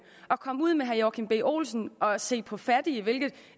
komme ud med herre joachim b olsen og se på fattige hvilket